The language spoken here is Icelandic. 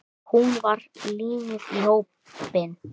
Hún var límið í hópnum.